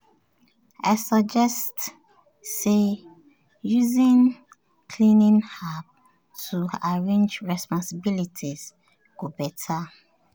i suggest say using cleaning app to arrange responsibilities go better.